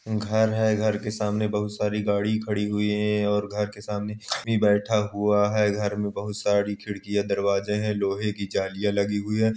घर है। घर के सामने बहुत सारी गाड़ी खड़ी हुई हैं और घर के सामने कोई बैठा हुआ है। घर में बहुत सारी खिड़कियाँ दरवाजे हैं। लोहे की जालियाँ लगी हुई हैं।